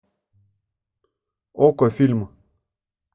окко фильм